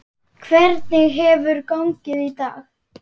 Hvernig hefur gengið í dag?